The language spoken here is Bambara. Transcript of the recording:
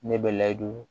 Ne bɛ layidu